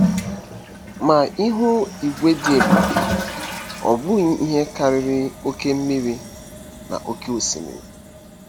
Ma ihu igwe dị ebube -- ọ bụghị ihe karịrị oke mmiri n'oké osimiri.